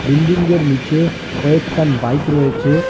বিন্ডিংঙ্গের নীচে কয়েকখান বাইক রয়েচে।